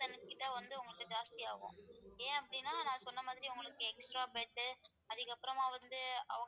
வந்து உங்களுக்கு ஜாஸ்தி ஆகும் ஏன் அப்படின்னா நான் சொன்ன மாதிரி உங்களுக்கு extra bed உ அதுக்கு அப்புறமா வந்து